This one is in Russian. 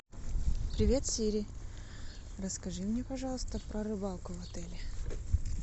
привет сири расскажи мне пожалуйста про рыбалку в отеле